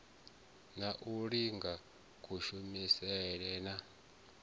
na u linga kushumele na